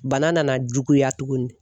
Bana nana juguya tuguni.